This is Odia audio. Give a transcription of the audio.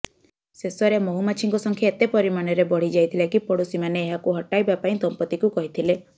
ଶେଷରେ ମହୁମାଛିଙ୍କ ସଂଖ୍ୟା ଏତେ ପରିମାଣରେ ବଢିଯାଇଥିଲା କି ପଡୋଶୀମାନେ ଏହାକୁ ହଟାଇବା ପାଇଁ ଦମ୍ପତିଙ୍କୁ କହିଥିଲେ